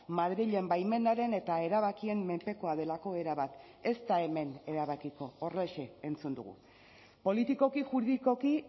madrilen baimenaren eta erabakien menpekoa delako erabat ez da hemen erabakiko horrexe entzun dugu politikoki juridikoki